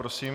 Prosím.